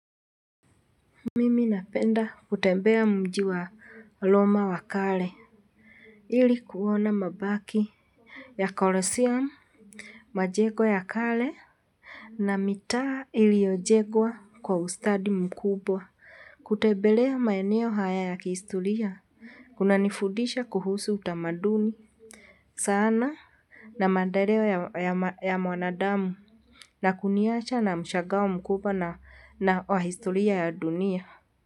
Mimi napenda kutembea mji wa loma wa kale. Ili kuona mabaki ya kolosiam majego ya kale. Na mitaa iliyojegwa kwa ustadi mkubwa kutebelea maeneo haya ya kihistoria kunanifudisha kuhusu utamaduni Sana. Na maendeleo ya mwanadamu na kuniacha na mshagao mkubwa na wa historia ya dunia.